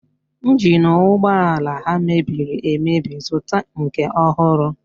Ịnjin ụgbọala ha mebiri emebi, zụta nke ọhụrụ!